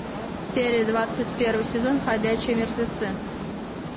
серия двадцать первый сезон ходячие мертвецы